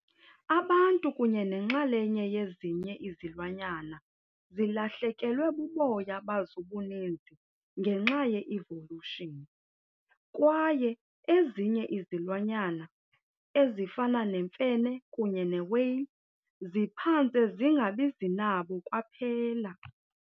Abantu kunye nenxalenye yezinye izilwanyana zilahlekelwe buboya bazoobuninzi ngenxa ye evolution, kwaye ezinye izilwanyana, ezifana neemfene kunye newhale, ziphantse zingabizinabo kwaphela.